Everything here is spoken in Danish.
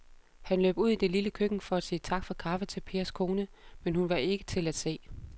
Han løb ud i det lille køkken for at sige tak for kaffe til Pers kone, men hun var ikke til at se.